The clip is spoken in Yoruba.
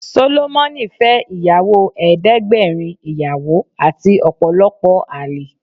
Sólómónì fẹ́ ìyàwó ẹdẹ́gbẹ́rin ìyàwó àti ọ̀pọ̀lọpọ̀ àlè